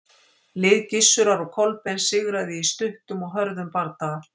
Lið Gissurar og Kolbeins sigraði í stuttum og hörðum bardaga.